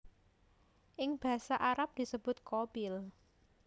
Ing basa Arab disebut Qabil